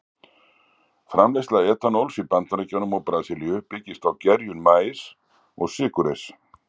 Framleiðsla etanóls í Bandaríkjunum og Brasilíu byggist á gerjun maís og sykurreyrs.